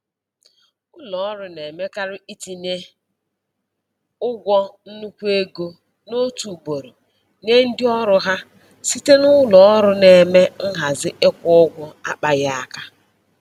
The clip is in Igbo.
Ụlọ ọrụ na-emekarị itinye ụgwọ nnukwu ego n'otu ugboro nye ndị ọrụ ha site na ụlọ ọrụ na-eme nhazi ịkwụ ụgwọ akpaghị aka.